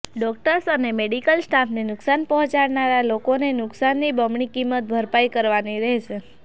doctors અને medical સ્ટાફને નુકશાન પહોંચાડનારા લોકોને નુકશાનની બમણી કિંમત ભરપાઈ કરવાની રહેશે